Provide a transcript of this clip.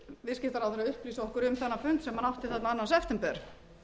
viðskiptaráðherra upplýsi okkur um þennan fund sem hann átti þarna annan september